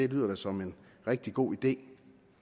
lyder som en rigtig god idé